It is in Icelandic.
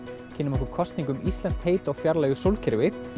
kynnum okkur kosningu um íslenskt heiti á fjarlægu sólkerfi